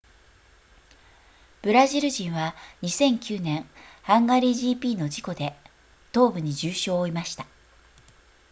ブラジル人は2009年ハンガリー gp の事故で東部に重傷を負いました